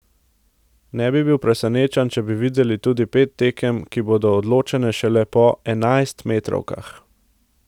Ne bi bil presenečen, če bi videli tudi pet tekem, ki bodo odločene šele po enajstmetrovkah ...